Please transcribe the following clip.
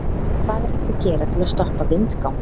hvað er hægt að gera til að stoppa vindgang